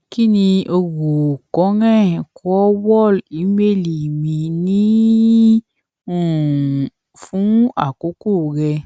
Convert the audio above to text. ki ni o ro karen krathwohl imeeli mi ni um fun akoko rẹ